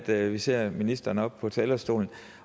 at vi ser ministeren på talerstolen